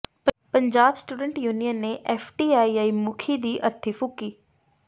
Punjab student union ਨੇ FTII ਮੁਖੀ ਦੀ ਅਰਥੀ ਫੂਕੀ